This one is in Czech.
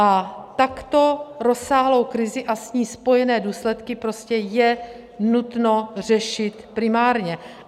A takto rozsáhlou krizi a s ní spojené důsledky je prostě nutno řešit primárně.